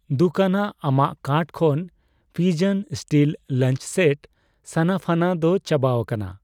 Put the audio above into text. ᱫᱩᱠᱷᱟᱱᱟᱜ, ᱟᱢᱟᱜ ᱠᱟᱨᱴ ᱠᱷᱚᱱ Pigeon steel lunch set ᱥᱟᱱᱟᱯᱷᱟᱱᱟ ᱫᱚ ᱪᱟᱵᱟᱣᱟᱠᱟᱱᱟ ᱾